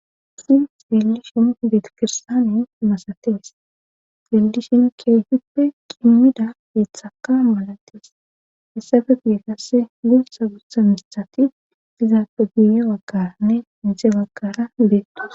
Issi siillishin beeti kirstaane masatees sildishin keehuppe qimmida iithaka maladees hessafe bii kasse gulsa gutha mistati izaafe buiye wagkaranne inxe bagkara beetdus